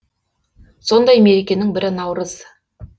сондай мерекенің бірі наурыз